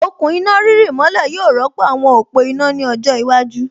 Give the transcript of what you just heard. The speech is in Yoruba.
Okùn iná rírì mọ́lẹ̀ yóò rọ́pò àwọn òpó iná ní ọjọ́ iwájú